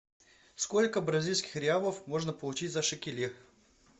сколько бразильских реалов можно получить за шекели